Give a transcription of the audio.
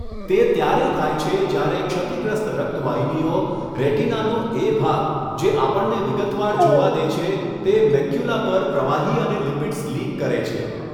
તે ત્યારે થાય છે જ્યારે ક્ષતિગ્રસ્ત રક્ત વાહિનીઓ, રેટિનાનો એ ભાગ જે આપણને વિગતવાર જોવા દે છે, તે મેક્યુલા પર પ્રવાહી અને લિપિડ્સ લીક કરે છે.